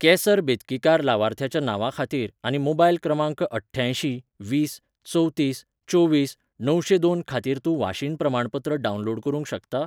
केसर बेतकीकार लावार्थ्याच्या नांवा खातीर आनी मोबायल क्रमांक अठ्ठ्यांयशीं वीस चवतीस चोवीस णवशेंदोन खातीर तू वाशीनप्रमाणपत्र डावनलोड करूंक शकता?